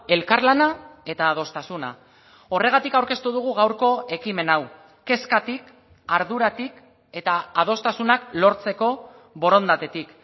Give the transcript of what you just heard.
elkarlana eta adostasuna horregatik aurkeztu dugu gaurko ekimen hau kezkatik arduratik eta adostasunak lortzeko borondatetik